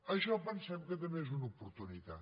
això pensem que també és una oportunitat